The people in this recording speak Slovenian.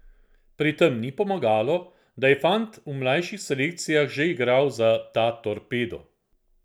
Pri tem ni pomagalo, da je fant v mlajših selekcijah že igral za ta Torpedo.